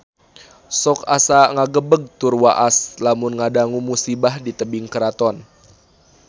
Sok asa ngagebeg tur waas lamun ngadangu musibah di Tebing Keraton